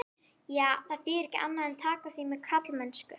Já, það þýðir ekki annað en taka því með karlmennsku.